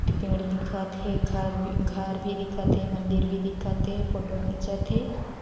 पेड़ दिखत हे घर भी घर भी दिखत हे मंदिर भी दिखत हे फोटो खिंचत हे।